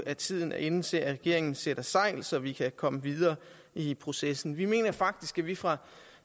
at tiden er inde til at regeringen sætter sejl så vi kan komme videre i processen vi mener faktisk at vi fra